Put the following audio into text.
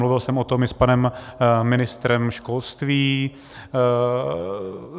Mluvil jsem o tom i s panem ministrem školství.